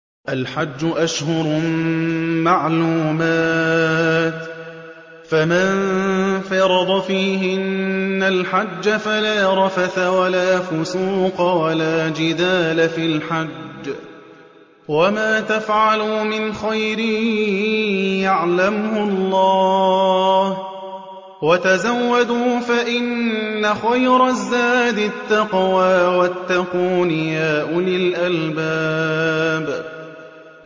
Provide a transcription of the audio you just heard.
الْحَجُّ أَشْهُرٌ مَّعْلُومَاتٌ ۚ فَمَن فَرَضَ فِيهِنَّ الْحَجَّ فَلَا رَفَثَ وَلَا فُسُوقَ وَلَا جِدَالَ فِي الْحَجِّ ۗ وَمَا تَفْعَلُوا مِنْ خَيْرٍ يَعْلَمْهُ اللَّهُ ۗ وَتَزَوَّدُوا فَإِنَّ خَيْرَ الزَّادِ التَّقْوَىٰ ۚ وَاتَّقُونِ يَا أُولِي الْأَلْبَابِ